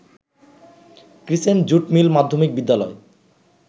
crescent jute mill মাধ্যমিক বিদ্যালয়